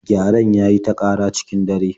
Gyaren ya yi ta ƙara cikin dare